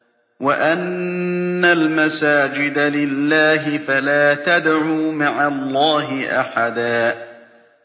وَأَنَّ الْمَسَاجِدَ لِلَّهِ فَلَا تَدْعُوا مَعَ اللَّهِ أَحَدًا